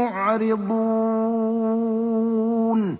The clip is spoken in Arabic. مُّعْرِضُونَ